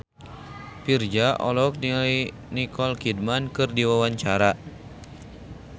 Virzha olohok ningali Nicole Kidman keur diwawancara